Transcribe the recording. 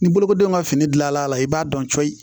Ni bolokodenw ka fini gilanla i b'a dɔn coyi